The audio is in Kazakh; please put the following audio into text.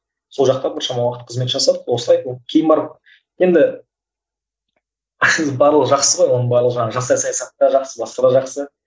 сол жақта біршама уақыт қызмет жасадық осылай кейін барып енді барлығы жақсы ғой оның барлығы жаңағы жастар саясаты да жақсы басқа да жақсы